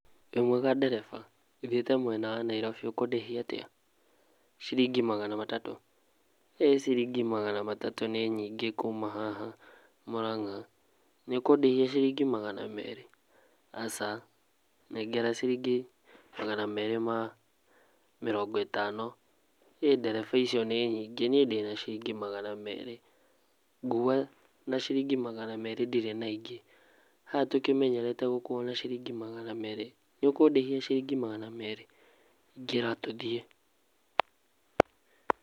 Wĩ mwega ndereba thiĩte mwena wa Nairobi ũkũndĩhia atia? ciringi magana matatũ, ciringi magana matatũ nĩ nyingĩ kuma haha Mũrang'a nĩũkũndĩhia ciringi magana merĩ? Aca nengera ciringi magana merĩ ma mĩrongo ĩtano, ĩĩ ndereba icio nĩ nyingĩ nĩe ndĩna ciringi magana merĩ ngua na ciringi magana merĩ ndirĩ na ingĩ, haha tũkĩmenyerete gũkuo na ciringi magana merĩ nĩ ũkũndĩhia ciringi magana merĩ,, ingĩra tũthie.